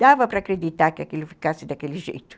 dava para acreditar que aquilo ficasse daquele jeito.